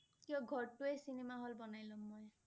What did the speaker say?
কিয়? ঘৰটোৱে cinema hall বনাই লম মই